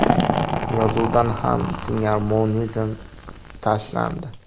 Yozuvdan ham singarmonizm olib tashlandi.